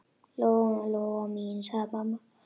Lóa-Lóa mín, sagði mamma.